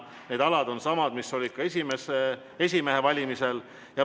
Need alad on samad, mis olid ka esimehe valimisel.